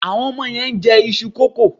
Àwọn ọmọ yẹn ń jẹ iṣu kókò.